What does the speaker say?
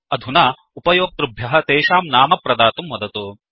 अधुना उपयोकृभ्यः तेषां नाम प्रदातुं वदतु